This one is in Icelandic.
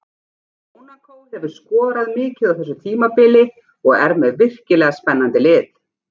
Mónakó hefur skorað mikið á þessu tímabili og er með virkilega spennandi lið.